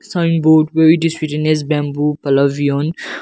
sign board where it written as bamboo pavilion.